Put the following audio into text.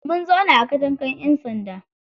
Mun zauna a katangan ƴan sanda.